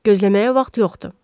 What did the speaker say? Gözləməyə vaxt yoxdur.